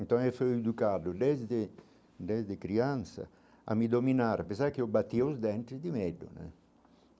Então, eu fui educado desde desde criança a me dominar, apesar que eu batia os dente de medo né.